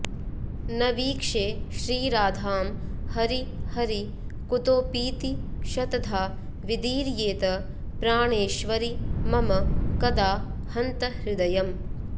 न वीक्षे श्रीराधां हरि हरि कुतोऽपीति शतधा विदीर्येत प्राणेश्वरि मम कदा हन्त हृदयम्